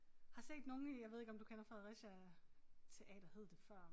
Har set nogle i jeg ved ikke om du kender Fredericia Teater hed det før